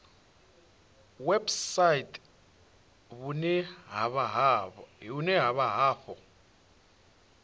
website vhune ha vha afho